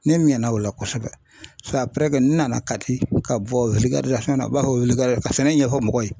Ne mɛnna o la kosɛbɛ a n nana kati ka bɔ wili fana u b'a fɔ weele ka sɛnɛ ɲɛfɔ mɔgɔw ye.